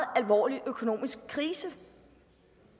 alvorlig økonomisk krise